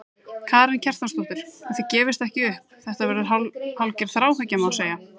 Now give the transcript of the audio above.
Karen Kjartansdóttir: Og þið gefist ekki upp, þetta verður hálfgerð þráhyggja, má segja?